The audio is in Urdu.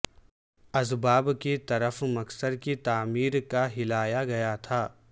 اسباب کی طرف مکسر کی تعمیر کا ہلایا گیا تھا